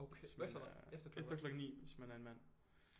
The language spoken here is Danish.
Efter klokken 9 hvis man er en mand